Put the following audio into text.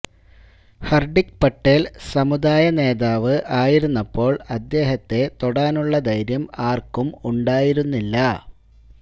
ഹർദിക് പട്ടേൽ സമുദായ നേതാവ് ആയിരുന്നപ്പോൾ അദ്ദേഹത്തെ തൊടാനുള്ള ധൈര്യം ആർക്കും ഉണ്ടായിരുന്നില്ല